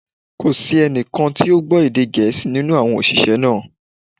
Kò sí ẹni kan tí ó gbọ́ èdè Gẹ̀ẹ́sì nínú àwọn òṣìṣẹ́ náà